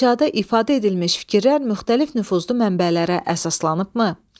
İnşada ifadə edilmiş fikirlər müxtəlif nüfuzlu mənbələrə əsaslanıbmı?